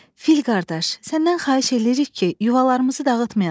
Fil qardaş, səndən xahiş eləyirik ki, yuvalarımızı dağıtmayasan.